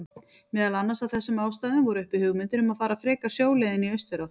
Meðal annars af þessum ástæðum voru uppi hugmyndir um að fara frekar sjóleiðina í austurátt.